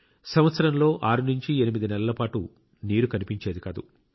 సంవత్సరంలో 68 నెలల పాటు నీరు కనిపించేది కాదు